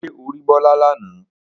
Ṣé o rí Bọ́lá lánàá?